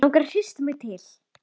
Langar að hrista mig til.